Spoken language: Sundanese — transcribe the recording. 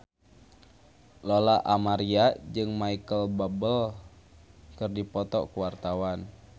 Lola Amaria jeung Micheal Bubble keur dipoto ku wartawan